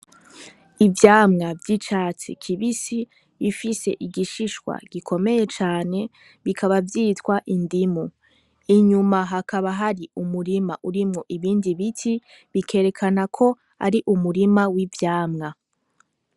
Ivyamwa vy'icatsi kibisi bifise igishishwa gikomeye cane bikaba vyitwa indimu inyuma hakaba hari umurima urimwo ibindi biti bikerekana ko ari umurima w'ivyamwa.